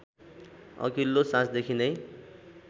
अघिल्लो साँझदेखि नै